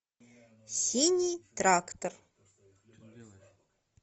синий трактор